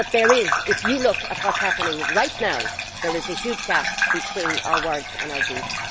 But, if you look at what is happening right now, there is a huge gap between our words and our deeds.